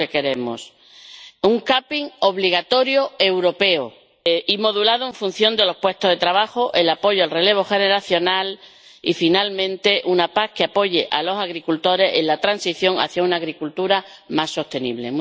Eso es lo que queremos, así como un capping obligatorio europeo y modulado en función de los puestos de trabajo, el apoyo al relevo generacional y, finalmente, una PAC que apoye a los agricultores en la transición hacia una agricultura más sostenible.